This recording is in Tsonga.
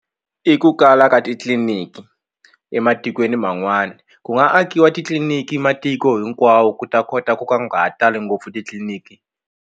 I ku kala ka titliliniki ematikweni man'wana ku nga akiwa titliliniki matiko hinkwawo ku ta kota ku ka nga ha tali ngopfu titliliniki.